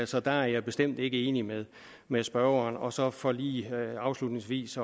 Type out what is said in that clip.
så der er jeg bestemt ikke enig med med spørgeren og så for lige afslutningsvis